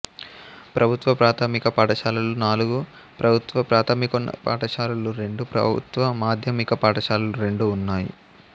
ప్రభుత్వ ప్రాథమిక పాఠశాలలు నాలుగు ప్రభుత్వ ప్రాథమికోన్నత పాఠశాలలు రెండు ప్రభుత్వ మాధ్యమిక పాఠశాలలు రెండు ఉన్నాయి